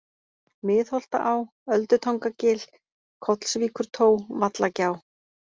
Miðholtaá, Öldutangagil, Kollsvíkurtó, Vallagjá